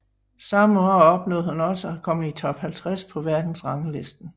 Samme år opnåede hun også at komme i Top 50 på verdensranglisten